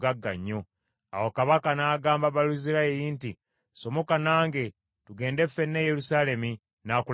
Awo kabaka n’agamba Baluzirayi nti, “Somoka nange, tugende ffenna e Yerusaalemi, n’akulabiriranga.”